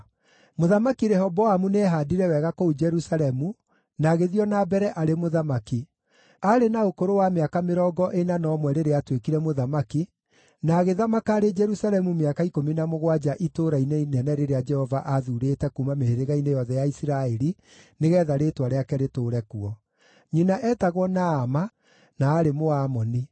Mũthamaki Rehoboamu nĩehaandire wega kũu Jerusalemu na agĩthiĩ o na mbere arĩ mũthamaki. Aarĩ na ũkũrũ wa mĩaka mĩrongo ĩna na ũmwe rĩrĩa aatuĩkire mũthamaki, na agĩthamaka arĩ Jerusalemu mĩaka ikũmi na mũgwanja itũũra-inĩ inene rĩrĩa Jehova aathuurĩte kuuma mĩhĩrĩga-inĩ yothe ya Isiraeli nĩgeetha Rĩĩtwa rĩake rĩtũũre kuo. Nyina etagwo Naama, na aarĩ Mũamoni.